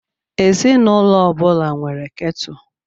Ezinụlọ ọ bụla nwere kettle.